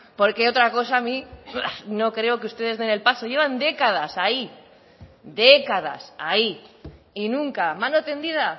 porque otra cosa a mí no creo que ustedes den el paso llevan décadas ahí décadas ahí y nunca mano tendida